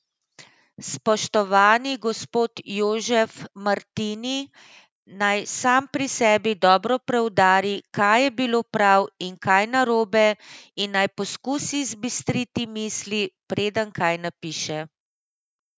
Spoštovani gospod Jožef Martini naj sam pri sebi dobro preudari, kaj je bilo prav in kaj narobe, in naj poskusi zbistriti misli, preden kaj napiše.